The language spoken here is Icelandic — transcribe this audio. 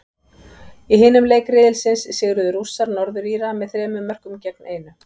Í hinum leik riðilsins sigruðu Rússar, Norður Íra, með þremur mörkum gegn einu.